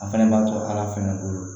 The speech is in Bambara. A fɛnɛ b'a to ala fɛnɛ bolo